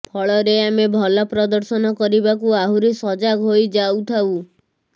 ଫଳରେ ଆମେ ଭଲ ପ୍ରଦର୍ଶନ କରିବାକୁ ଆହୁରି ସଜାଗ ହୋଇ ଯାଉଥାଉ